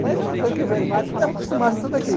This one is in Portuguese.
Mas eu thank you very much estava acostumado com tudo aquilo.